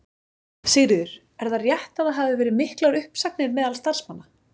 Sigríður: Er það rétt að það hafi verið miklar uppsagnir meðal starfsmanna?